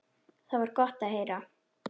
Það var gott að heyra.